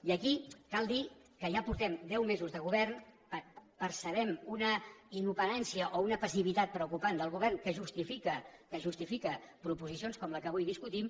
i aquí cal dir que ja portem deu mesos de govern percebem una inoperància o una passivitat preocupant del govern que justifica proposicions com la que avui discutim